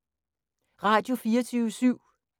Radio24syv